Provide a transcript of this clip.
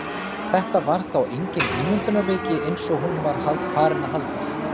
Þetta var þá engin ímyndunarveiki eins og hún var farin að halda!